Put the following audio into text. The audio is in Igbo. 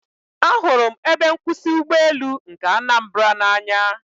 Ahụrụ m ebe nkwụsị ụgbọelu nke Anambra n'anya